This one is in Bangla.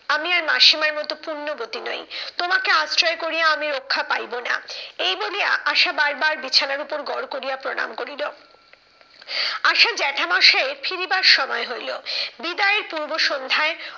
আমি আর মাসিমার মতো পুণ্যবতী নই তোমাকে আশ্রয় করিয়া আমি রক্ষা পাইবো না। এই বলিয়া আশা বার বার বিছানার উপর গড় করিয়া প্রণাম করিল। আশার জ্যাঠা মশাইয়ের ফিরিবার সময় হইলো, বিদায়ের পূর্ব সন্ধ্যায়